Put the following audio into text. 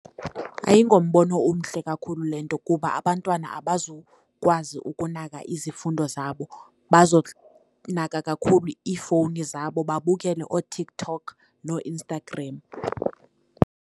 Ayingombono omhle kakhulu le nto kuba abantwana abazukwazi ukunaka izifundo zabo, bazonaka kakhulu iifowuni zabo babukele ooTikTok nooInstagram.